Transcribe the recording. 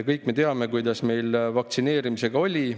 Kõik me teame, kuidas meil vaktsineerimisega oli.